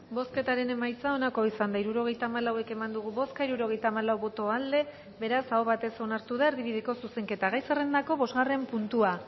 bozketaren emaitza onako izan da hirurogeita hamalau eman dugu bozka hirurogeita hamalau boto aldekoa beraz aho batez onartu da erdibideko zuzenketa gai zerrendako bosgarren puntua